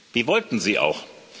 Die wollten Sie auch.